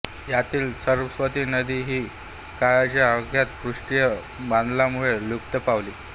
यातील सरस्वती नदी ही काळाच्या ओघात पृष्ठीय बदलांमुळे लुप्त पावली